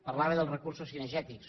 parlava dels recursos cinegètics